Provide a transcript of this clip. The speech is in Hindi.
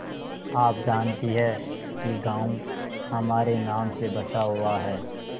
आप जानती हैं कि गॉँव हमारे नाम से बसा हुआ है